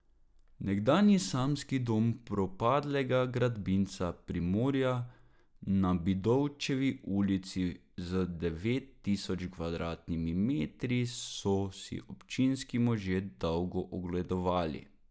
Nekdanji samski dom propadlega gradbinca Primorja na Bidovčevi ulici z devet tisoč kvadratnimi metri so si občinski možje dolgo ogledovali.